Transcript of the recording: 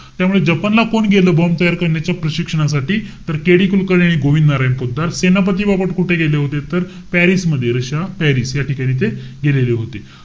त्यामुळे जपानला कोण गेलं bomb तयार करण्याच्या प्रशिक्षणासाठी तर KD कुलकर्णी आणि गोविंद नारायण पोतदार. सेनापती बापट कुठे गेले होते? तर, पॅरिस मध्ये. रशिया, पॅरिस या ठिकाणी ते गेलेले होते.